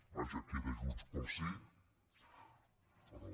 vaja queda junts pel sí però